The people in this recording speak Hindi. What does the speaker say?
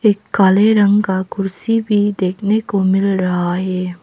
ये काले रंग का कुर्सी भी देखने को मिल रहा है।